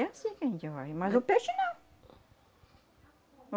É anssim que a gente vai, mas o peixe não.